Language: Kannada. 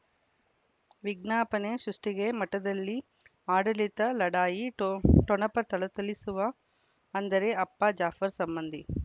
ವಿಜ್ಞಾಪನೆ ಸೃಷ್ಟಿಗೆ ಮಠದಲ್ಲಿ ಆಡಳಿತ ಲಢಾಯಿ ಠೊ ಠೊಣಪ ಥಳಥಳಿಸುವ ಅಂದರೆ ಅಪ್ಪ ಜಾಫರ್ ಸಂಬಂಧಿ